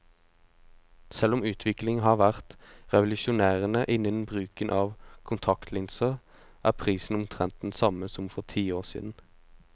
Selv om utviklingen har vært revolusjonerende innen bruken av kontaktlinser, er prisen omtrent den samme som for ti år siden.